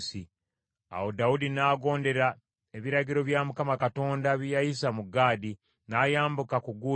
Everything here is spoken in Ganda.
Awo Dawudi n’agondera ebiragiro bya Mukama Katonda bye yayisa mu Gaadi, n’ayambuka ku gguuliro.